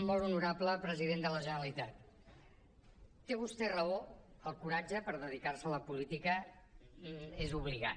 molt honorable president de la generalitat té vostè raó el coratge per dedicar se a la política és obligat